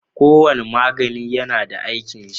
Kowane magani yAna da aikin shi